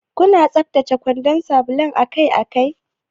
Kuna tsaftace kwandan sabulun akai-akai?